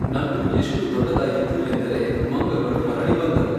ನಗು ಎಷ್ಟು ದೊಡ್ಡದಾಗಿತ್ತು ಎಂದರೆ, ಮಂಗಗಳು ಮರಳಿ ಬಂದವು.